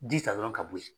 Ji ta dɔrɔn ka bɔ ye